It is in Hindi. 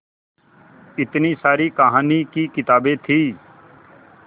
इतनी सारी कहानी की किताबें थीं